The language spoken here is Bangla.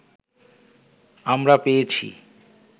আমরা পেয়েছি